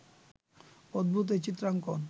অদ্ভূত এই চিত্রাঙ্কণ